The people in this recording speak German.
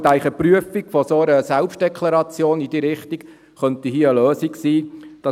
Ich denke, die Prüfung einer solchen Selbstdeklaration könnte hier eine Lösung sein.